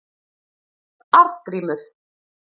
Arngrímur